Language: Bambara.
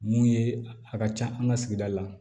Mun ye a ka ca an ka sigida la